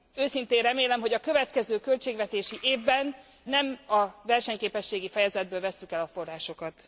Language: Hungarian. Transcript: Őszintén remélem, hogy a következő költségvetési évben nem a versenyképességi fejezetből vesszük el a forrásokat.